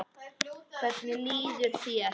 Hvernig líður þér?